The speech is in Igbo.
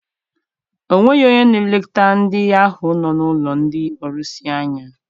O nweghị onye n'eleta ndị ahụ nọ n'ụlọ ndị ọrusi anya.